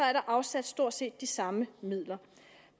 er afsat stort set de samme midler